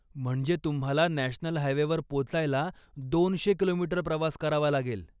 म्हणजे तुम्हाला नॅशनल हायवेवर पोचायला दोनशे किलोमीटर प्रवास करावा लागेल.